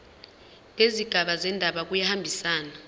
nezigaba zendaba kuyahambisana